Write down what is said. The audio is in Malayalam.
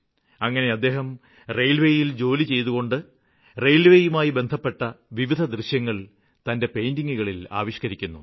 അങ്ങനെ അദ്ദേഹം റെയില്വേയില് ജോലിചെയ്തുകൊണ്ട് റെയില്വേയുമായി ബന്ധപ്പെട്ട വിവിധ ദൃശ്യങ്ങള് തന്റെ പെയിന്റിംഗുകളില് ആവിഷ്ക്കരിക്കുന്നു